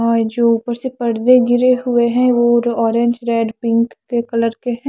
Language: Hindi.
हां जो उपर से परदे गिरे हुए है वो ऑरेंज रेड पिंक के कलर के है ।